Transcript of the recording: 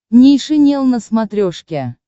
нейшенел на смотрешке